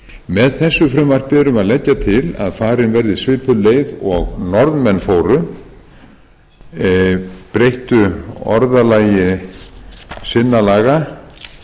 með þessu frumvarpi erum við að leggja til að farin verði svipuð leið og norðmenn fóru breyttu orðalagi sinna laga þannig að